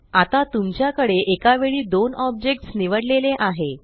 आता तुमच्या कडे एकावेळी दोन ऑब्जेक्ट्स निवडलेले आहे